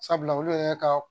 Sabula olu yɛrɛ ka